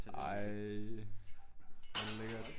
Ej hvor det lækkert